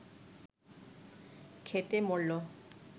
খেটে মরল